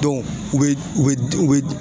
u be u be u be